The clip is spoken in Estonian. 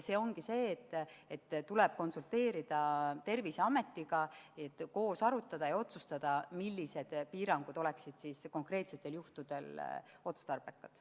Seepärast tulebki konsulteerida Terviseametiga, et koos arutada ja otsustada, millised piirangud oleksid konkreetsetel juhtudel otstarbekad.